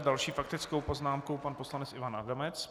S další faktickou poznámkou pan poslanec Ivan Adamec.